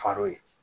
Fadow ye